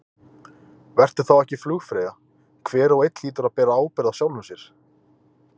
Vertu þá ekki flugfreyja, hver og einn hlýtur að bera ábyrgð á sjálfum sér.